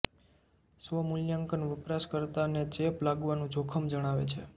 સ્વ મૂલ્યાંકન વપરાશકર્તાને ચેપ લાગવાનું જોખમ જણાવે છે